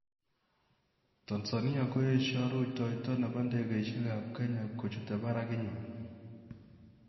Tanzania koesyo rutoito nepo ndegeisyek ap kenya kochutei parak inywa